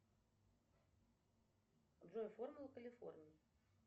джой формула калифорнии